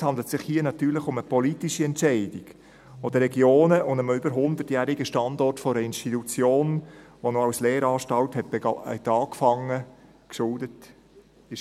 Es handelt sich hier natürlich um eine politische Entscheidung, die den Regionen und einem über hundertjährigen Standort einer Institution, die als Lehranstalt begann, geschuldet war.